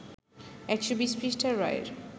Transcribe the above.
১২০ পৃষ্ঠার রায়ের